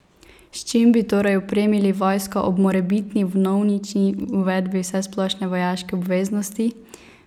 S čim bi torej opremili vojsko ob morebitni vnovični uvedbi vsesplošne vojaške obveznosti?